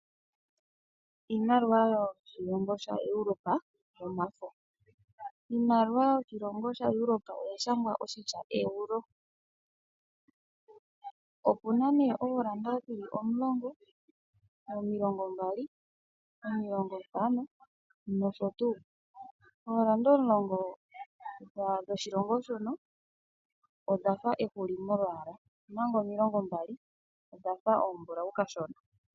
Iimaliwa yenenevi Europa oya shangwa oshitya Euro pokolonela yopombanda yoshimaliwa. Ondando yoshimaliwa oya yooloka, onkene ano otu na ngaashi ooEuro omulongo, omilongo mbali, omilongo ntano nosho tuu. Efo lyooEuro omulongo oli na olwaala lwehuli, omanga lyomilongo mbali embulau molwaala.